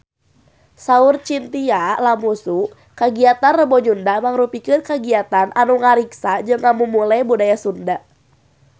Saur Chintya Lamusu kagiatan Rebo Nyunda mangrupikeun kagiatan anu ngariksa jeung ngamumule budaya Sunda